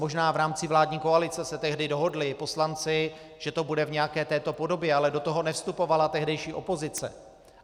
Možná v rámci vládní koalice se tehdy dohodli poslanci, že to bude v nějaké této podobě, ale do toho nevstupovala tehdejší opozice.